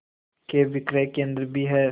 के विक्रय केंद्र भी हैं